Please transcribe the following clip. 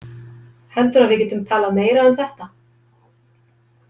Heldurðu að við getum talað meira um það?